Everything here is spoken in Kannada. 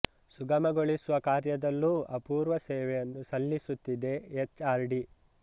ಸುಗಮಗೊಳಿಸುವ ಕಾರ್ಯದಲ್ಲೂ ಅಪೂರ್ವ ಸೇವೆಯನ್ನು ಸಲಿಸುತ್ತಿದೆ ಎಚ್ ಆರ್ ಡಿ